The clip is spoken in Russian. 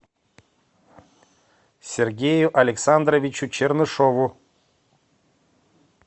сергею александровичу чернышеву